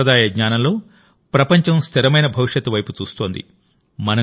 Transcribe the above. ఈ సంప్రదాయ జ్ఞానంలోప్రపంచం స్థిరమైన భవిష్యత్తు వైపు చూస్తోంది